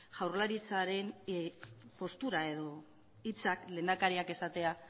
jaurlaritzaren postura edo hitzak lehendakariak esatea